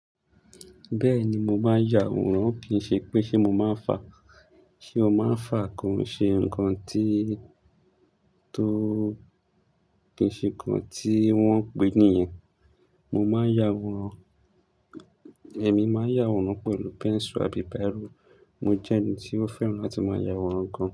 Bẹ́ẹ̀ni, mo máa ń yàwòrán. Kì í ṣe pé ṣẹ mo máa fà, ṣé o máa fà kò hán ṣe nǹkan tí tó. Kì í ṣe nǹkan tí wọ́n pèé nìyẹn. Mo máa yàwórán, ẹmi máa yàwórán pẹ̀lú pẹ́ńsù àbí bírò. Mo jẹ́ ẹni tí ó fẹ́ràn láti máa yàwórán gan.